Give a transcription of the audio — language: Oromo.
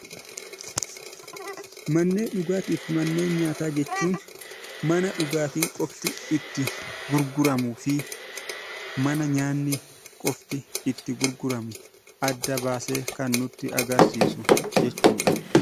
Manneen dhugaatii fi manneen nyaataa jechuun mana dhugaatiin qofti itti gurguramuu fi mana nyaanni qofti itti gurguramu adda baasee kan nutti agarsiisu jechuu dha.